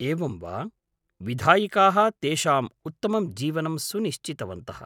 एवं वा! विधायिकाः तेषाम् उत्तमं जीवनं सुनिश्चितवन्तः।